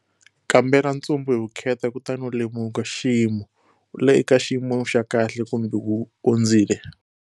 Kambela ntsumbu hi vukheta kutani u lemuka-Xiyimo-wu le ka xiyimo xa kahle, kumbe wu ondzile?